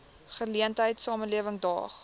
geleentheid samelewing daag